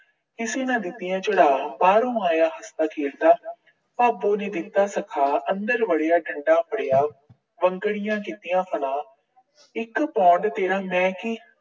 ਕਿਸੇ ਨਾ ਦਿੱਤੀਆਂ ਚੜਾ। ਬਾਹਰੋਂ ਆਇਆ ਹੱਸਦਾ ਖੇਡਦਾ ਭਾਬੋਂ ਨੇ ਦਿੱਤਾ ਸਿਖਾ। ਅੰਦਰ ਵੜਿਆ, ਡੰਡਾ ਫੜਿਆ। ਵੰਗੜੀਆਂ ਦਿੱਤੀਆਂ ਫੜਾ। ਇੱਕ pound ਤੇਰਾ ਮੈਂ ਕੀ